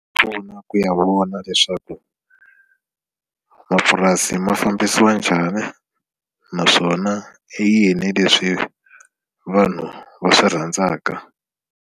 Swi pfuna ku ya vona leswaku mapurasi ma fambisiwa njhani naswona i yini leswi vanhu va swi rhandzaka.